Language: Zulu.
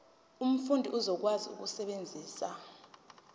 umfundi uzokwazi ukusebenzisa